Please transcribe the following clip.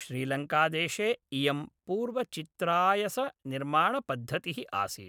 श्रीलङ्कादेशे इयं पूर्वचित्रायसनिर्माणपद्धतिः आसीत्